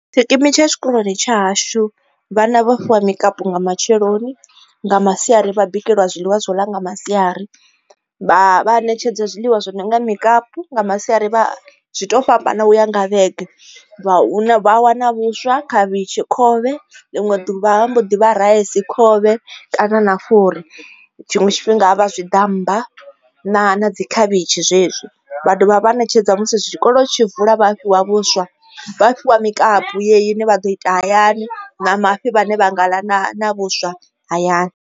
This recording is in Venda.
Tshikimu tsha tshikoloni tsha hashu vhana vha fhiwa mukapu nga matsheloni nga masiari vha bikelwa zwiḽiwa zwo ḽa nga masiari vha ṋetshedza zwiḽiwa zwi no nga mukapu nga masiari zwi to fhambana u ya nga vhege vha a wana vhuswa, khavhishi khovhe ḽiṅwe ḓuvha vha a mbo ḓi vha raisi, khovhe kana na fhuri, tshiṅwe tshifhinga vha tshiḓammba na dzi khavhishi zwezwi vha dovha vha ṋetshedza musi zwi tshikolo tshi vula vha a fhiwa vhuswa vha a fhiwa mikapu yeyo ine vha ḓo ita hayani na mafhi vhane vha nga ḽa na vhuswa hayani.